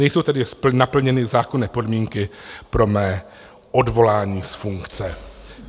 Nejsou tedy naplněny zákonné podmínky pro mé odvolání z funkce."